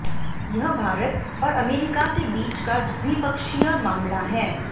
यह भारत और अमेरिका के बीच का दि्वपक्षीय मामला है